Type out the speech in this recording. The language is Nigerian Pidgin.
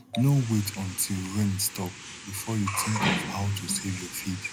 no wait untill rain stop before you think of how to save your feed